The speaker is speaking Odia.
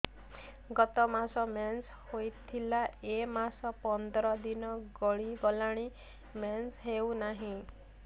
ଗତ ମାସ ମେନ୍ସ ହେଇଥିଲା ଏ ମାସ ପନ୍ଦର ଦିନ ଗଡିଗଲାଣି ମେନ୍ସ ହେଉନାହିଁ